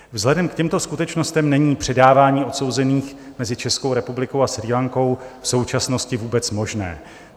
Vzhledem k těmto skutečnostem není předávání odsouzených mezi Českou republikou a Srí Lankou v současnosti vůbec možné.